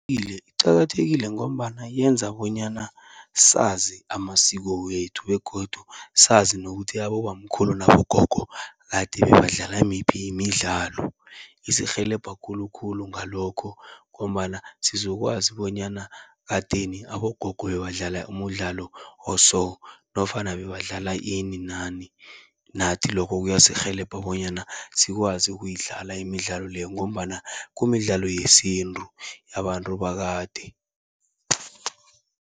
iqakathekile ngombana yenza bonyana sazi amasiko wethu begodu sazi nokuthi abobamkhulu nabogogo, kade bebadlala miphi imidlalo. Isirhelebha khulukhulu ngalokho ngombana sizokwazi bonyana, ekadeni abogogo bebadlala umdlalo oso nofana bebadlala ini nani. Nathi lokho kuyasirhelebha bonyana sikwazi ukuyidlala imidlalo leyo, ngombana kumidlalo yesintu yabantu bakade.